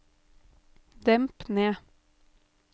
demp ned